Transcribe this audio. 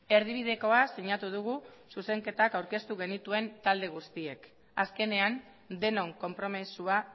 erdibidekoa sinatu dugu zuzenketak aurkeztu genituen talde guztiek azkenean denon konpromisoa